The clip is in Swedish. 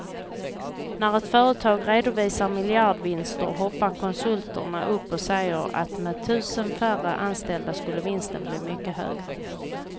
När ett företag redovisar miljardvinster hoppar konsulterna upp och säger att med tusen färre anställda skulle vinsten bli mycket högre.